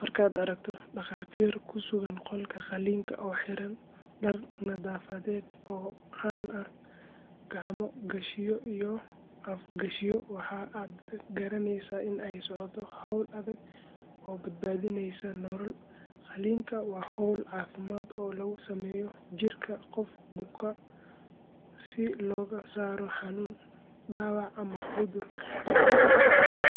Markaad aragto dhakhaatiir ku sugan qolka qalliinka oo xiran dhar nadaafadeed oo caddaan ah, gacmo gashiyo iyo af gashiyo, waxa aad garaneysaa in ay socoto hawl adag oo badbaadinaysa nolol. Qalliinka waa hawl caafimaad oo lagu sameeyo jirka qof buka si looga saaro xanuun, dhaawac ama cudur khatar ah.